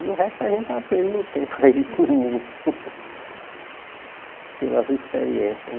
E o resto a gente aprende no tempo aí, no mundo, pelas experiências né.